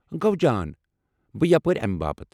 گوٚو جان، بہٕ یپٲرۍ امہِ باپتھ ۔